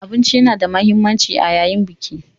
Abinci yana da mahimmanci yayin Biki.